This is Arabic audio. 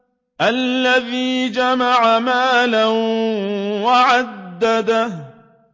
الَّذِي جَمَعَ مَالًا وَعَدَّدَهُ